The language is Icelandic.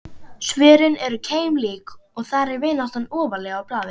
Svörin eru keimlík og þar er vináttan ofarlega á blaði.